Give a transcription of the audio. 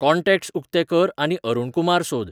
contacts उकते कर आनी अरुण कुमार सोद